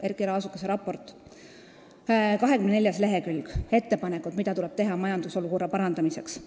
Erkki Raasukese raporti 24. leheküljel on kirjas ettepanekud, mida tuleb teha majandusolukorra parandamiseks.